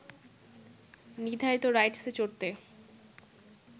নির্ধারিত রাইডসে চড়তে